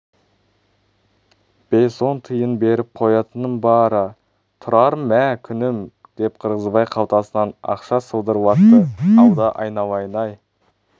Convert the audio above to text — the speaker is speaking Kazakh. бес-он тиын беріп қоятыным бар а-а тұрар мә күнім деп қырғызбай қалтасынан ақша сылдырлатты алда айналайын-ай